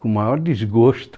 Com o maior desgosto.